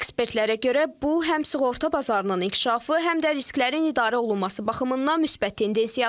Ekspertlərə görə, bu həm sığorta bazarının inkişafı, həm də risklərin idarə olunması baxımından müsbət tendensiyadır.